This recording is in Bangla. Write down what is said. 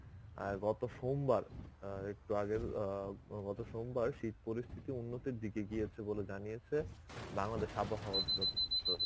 আ গত সোমবার অ্যাঁ একটু আগের অ্যাঁ গত সোমবার শীত পরিস্থিতি উন্নতির দিকে গিয়েছে বলে জানিয়েছে বাংলাদেশ আবহাওয়া দ~ দপ্তর.